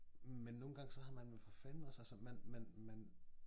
Men nogen gange så har man for fanden også altså man man man